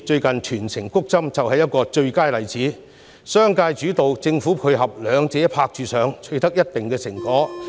近日全城"谷針"便是最佳例子，由商界主導、政府配合，兩者"拍住上"達致一定的成果。